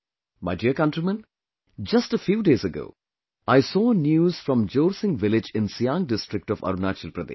My dear countrymen, just a few days ago, I saw news from Jorsing village in Siang district of Arunachal Pradesh